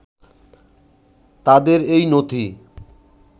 তাদের এই নথি